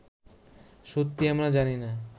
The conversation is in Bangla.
সত্যি আমরা জানি না